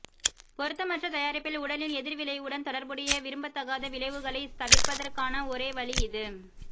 பொருத்தமற்ற தயாரிப்பில் உடலின் எதிர்விளைவுடன் தொடர்புடைய விரும்பத்தகாத விளைவுகளைத் தவிர்ப்பதற்கான ஒரே வழி இது